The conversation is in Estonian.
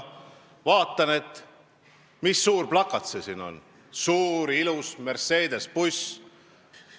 Ma vaatasin, mis suur plakat see seal on suure ilusa Mercedese bussi peal.